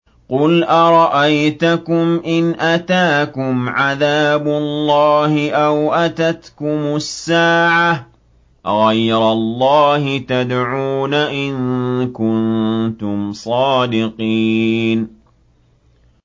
قُلْ أَرَأَيْتَكُمْ إِنْ أَتَاكُمْ عَذَابُ اللَّهِ أَوْ أَتَتْكُمُ السَّاعَةُ أَغَيْرَ اللَّهِ تَدْعُونَ إِن كُنتُمْ صَادِقِينَ